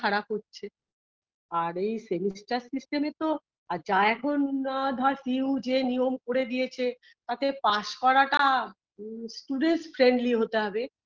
খারাপ হচ্ছে আর এই semester system -এ তো আর যা এখন ধর C U যে নিয়ম করে দিয়েছে তাতে pass করাটা student friendly হতে হবে